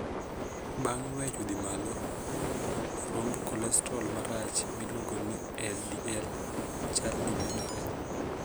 Bang weyo dhi malo, romb kolestrol marach miluongo ni 'LDL'chal ni medore.